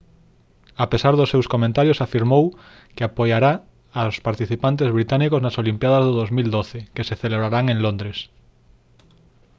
a pesar dos seus comentarios afirmou que apoiará aos participantes británicos nas olimpíadas do 2012 que se celebrarán en londres